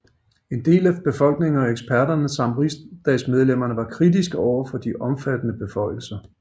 En del af befolkningen og eksperter samt riksdagsmedlemmer var kritiske overfor de omfattende beføjelser